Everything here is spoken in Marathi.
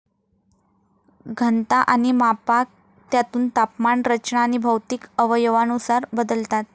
घनता आणि मापांक, त्यातून तापमान, रचना अणि भौतिक अवयवानुसार बदलतात.